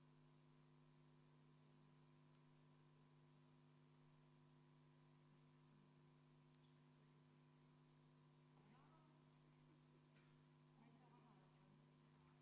Nüüd on jälle mul aeg tsiteerida kodu- ja töökorra seaduse § 891.